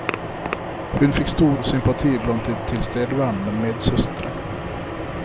Hun fikk stor sympati blant de tilstedeværende medsøstre.